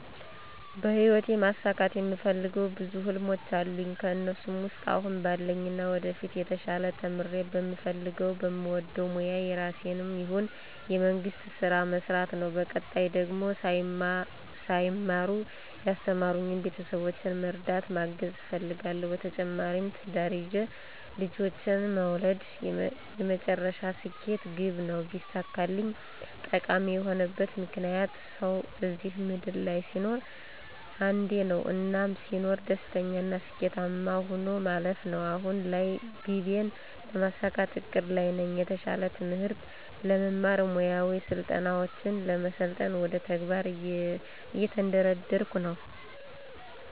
በሂወቴ ማሳካት የምፈልገው ብዙ ህልሞች አሉኝ ከእነሱ ውስጥ አሁን ባለኝና ወደፊት የተሻለ ተምሬ በምፈልገው በምወደው ሞያ የራሴንም ይሁን የመንግስት ስራ መስራት ነው በቀጣይ ደግሞ ሳይማሩ ያስተማሩኝን ቤተሰቦቼን መርዳት ማገዝ እፈልጋለሁ። በተጨማሪም ትዳር ይዤ ልጆችን መውለድ የመጨረሻ ስኬት ግቤ ነው ቢሳካልኝ። ጠቃሚ የሆነበት ምክንያት፦ ሰው እዚህ ምድር ላይ ሲኖር አንዴ ነው። እናም ስኖር ደስተኛና ስኬታማ ሆኜ ማለፍ ነው። አሁን ላይ ግቤን ለማሳካት እቅድ ላይ ነኝ። የተሻለ ትምህርት ለመማር፣ ሙያዊ ስልጠናውችን ለመሰልጠን ወደ ተግባር እየተንደረደርኩ ነው።